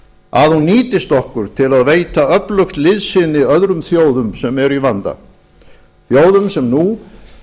að hún nýtist okkur til að veita öflugt liðsinni öðrum þjóðum sem eru í vanda þjóðum sem nú